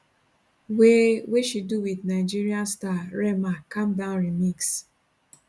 wey wey she do wit nigerian star rema calm down remix